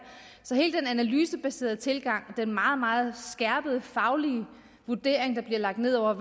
så hele den analysebaserede tilgang den meget meget skærpede faglige vurdering der bliver lagt ned over